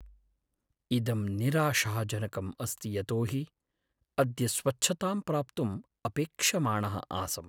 इदं निराशाजनकम् अस्ति यतोहि अद्य स्वच्छतां प्राप्तुं अपेक्षमाणः आसम्।